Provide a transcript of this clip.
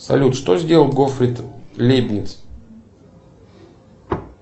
салют что сделал готфрид лейбниц